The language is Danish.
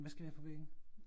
Hvad skal vi have på væggen?